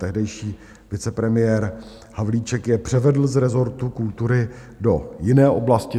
Tehdejší vicepremiér Havlíček je převedl z rezortu kultury do jiné oblasti.